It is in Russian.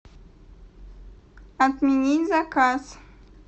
отменить заказ